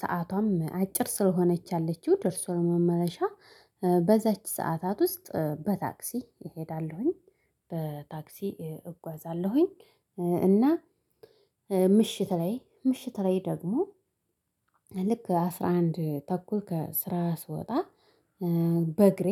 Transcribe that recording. ሰአቷም አጭር ስለሆነች ያለችው ደርሶ ለመመለሻ በዛች ሰዓታት ውስጥ በታክሲ እሄዳለሁኝ። በታክሲ እጓዛለሁኝ። እና ምሽት ላይ ምሽት ላይ ደግሞ ልክ አስራ አንድ ተኩል ከስራ ስወጣ በእግሬ